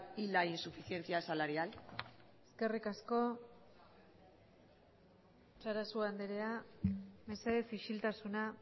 y la insuficiencia salarial eskerrik asko sarasua anderea mesedez isiltasuna